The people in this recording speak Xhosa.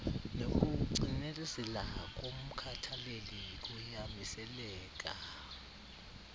nokucinezela komkhathaleli kuyamiseleka